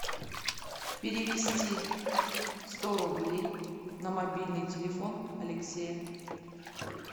перевести сто рублей на мобильный телефон алексея